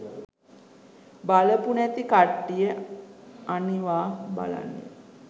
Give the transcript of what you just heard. බලපු නැති කට්ටිය අනිවා බලන්න.